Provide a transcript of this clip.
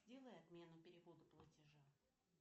сделай отмену перевода платежа